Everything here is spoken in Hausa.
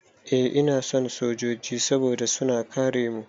Eh ina son sojoji saboda suna kare mu.